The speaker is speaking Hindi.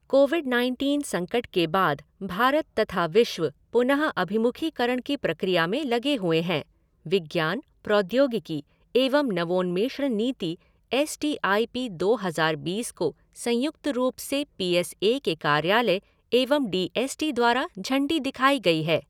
कोविड नाइनटीन संकट के बाद भारत तथा विश्व पुनःअभिमुखीकरण की प्रक्रिया में लगे हुए हैं, विज्ञान, प्रौद्योगिकी एवं नवोन्मेषण नीति एस टी आई पी दो हज़ार बीस को संयुक्त रूप से पी एस ए के कार्यालय एवं डी एस टी द्वारा झंडी दिखाई गई है।